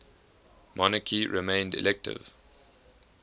monarchy remained elective